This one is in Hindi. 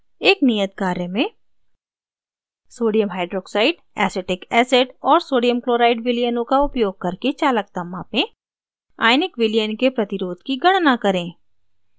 एक नियत कार्य में sodium hydroxide acetic acid और sodium chloride विलयनों का उपयोग करके चालकता मापें